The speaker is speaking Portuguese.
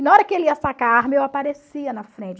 E na hora que ele ia sacar a arma, eu aparecia na frente.